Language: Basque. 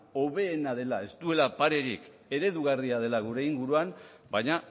hoberena dela ez duela parerik eredugarria dela gure inguruan baina